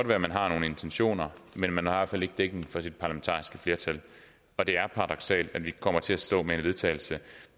være man har nogle intentioner men man har fald ikke dækning for sit parlamentariske flertal og det er paradoksalt at vi kommer til at stå med et vedtagelse